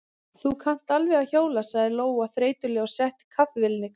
Þú kannt alveg að hjóla, sagði Lóa þreytulega og setti kaffivélina í gang.